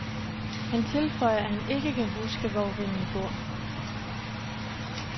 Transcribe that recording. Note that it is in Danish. Han tilføjer, at han ikke kan huske, hvor vennen bor.